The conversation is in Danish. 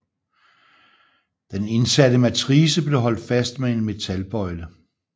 Den indsatte matrice blev holdt fast med en metalbøjle